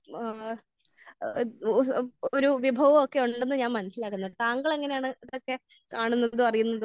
സ്ഥലവും ഇങ്ങനെ ഒരു ആഹ് ഓഹ് ഒരു വിഭവമൊക്കെ ഉണ്ടെന്ന് ഞാൻ മനസ്സിലാക്കുന്നത്. താങ്കൾ എങ്ങനെയാണ് ഇതൊക്കെ കാണുന്നതും അറിയുന്നതും?